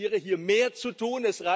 Ich appelliere, hier mehr zu tun.